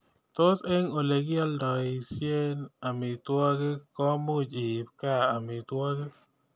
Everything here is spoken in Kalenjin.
Tos eng olegialdoishen amitwogik komuuch iip gaa amitwogik